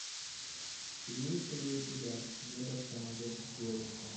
имеется ли у тебя небо самолет девушка